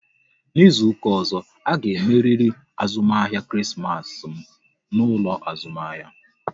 N'izuka ọzọ, a ga emeriri azụmahịa Krismas m n'ụlọ azụmahịa!